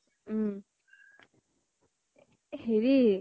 উম হেৰি